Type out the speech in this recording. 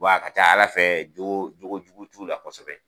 a ka ca ala fɛ jogo , jogo jugu t'u la kosɛbɛ.